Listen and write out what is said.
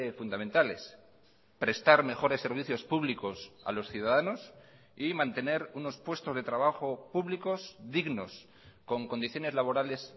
fundamentales prestar mejores servicios públicos a los ciudadanos y mantener unos puestos de trabajo públicos dignos con condiciones laborales